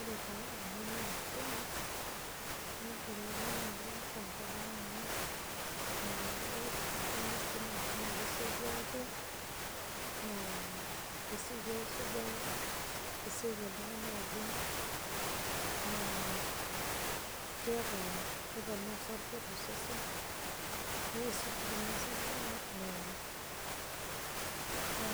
Ore taa Kuna naa spinach neibelekenye oleng' tenkop ang' amu, oo ee ore esidano esipinach naa kesioki aaku, kesioki aasujayu, kesioki oltung'ani adung' naa keeta keponaa osarge tosesen neisuj ninye osarge naa